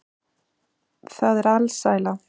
Það er alsæla.